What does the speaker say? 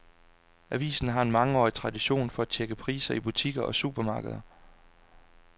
Avisen har en mangeårig tradition for at tjekke priser i butikker og supermarkeder.